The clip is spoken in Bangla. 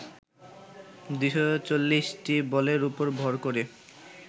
২৪০ টি বলের ওপর ভর করে